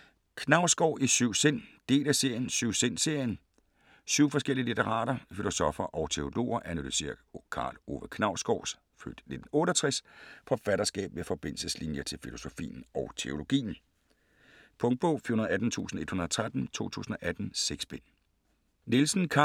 Knausgård i syv sind Del af serien Syv-sind-serien. Syv forskellige litterater, filosoffer og teologer analyserer Karl Ove Knausgårds (f. 1968) forfatterskab med forbindelseslinjer til filosofien og teologien. Punktbog 418113 2018. 6 bind.